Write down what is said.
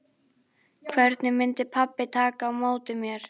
Hvernig myndi pabbi taka á móti mér?